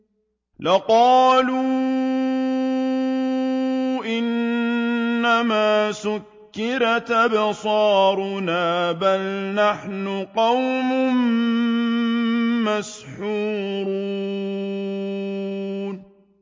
لَقَالُوا إِنَّمَا سُكِّرَتْ أَبْصَارُنَا بَلْ نَحْنُ قَوْمٌ مَّسْحُورُونَ